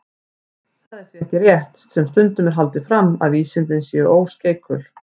Það er því ekki rétt, sem stundum er haldið fram, að vísindin séu óskeikul.